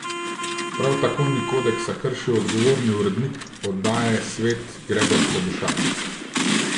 Prav tako ni kodeksa kršil odgovorni urednik oddaje Svet Gregor Trebušak.